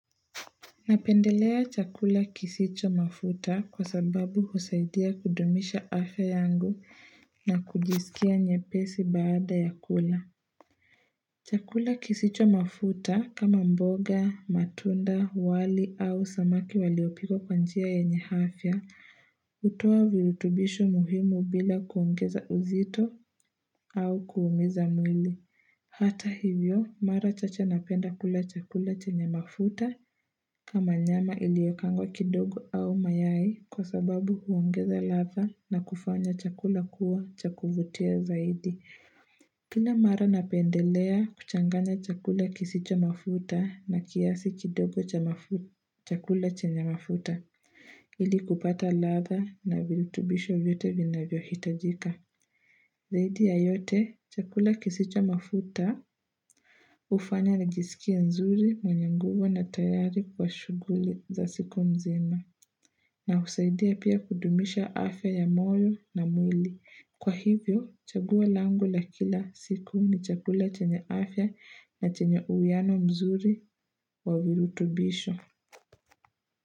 Napendelea chakula kisicho mafuta kwa sababu husaidia kudumisha afya yangu na kujisikia nyepesi baada ya kula. Chakula kisicho mafuta kama mboga, matunda, wali au samaki waliopiko kwanjia ya yenye afya utoa virutubisho muhimu bila kuongeza uzito au kuumiza mwili. Hata hivyo, mara chache napenda kula chakula chenye mafuta kama nyama iliokaangwa kidogo au mayai kwa sababu huongeza latha na kufanya chakula kuwa cha kuvutia zaidi. Kila mara napendelea kuchanganya chakula kisicho mafuta na kiasi kidogo cha chakula chenye mafuta. Ili kupata latha na virutubisho vyote vinavyohitajika. Zaidi ya yote, chakula kisicho mafuta ufanya najisikia nzuri mwenye nguvu na tayari kwa shuguli za siku mzima. Na husaidia pia kudumisha afya ya moyo na mwili. Kwa hivyo, chaguwa langu la kila siku ni chakula chenye afya na chenye uwiano mzuri wa virutubisho.